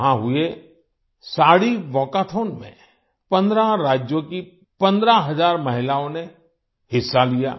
वहां हुए साड़ी वालकाठों में 15 राज्यों की 15000 महिलाओं ने हिस्सा लिया